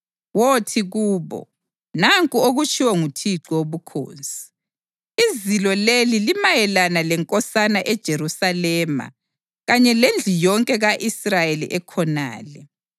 Wothi kubo, ‘Nanku okutshiwo nguThixo Wobukhosi: Izilo leli limayelana lenkosana eJerusalema kanye lendlu yonke ka-Israyeli ekhonale.’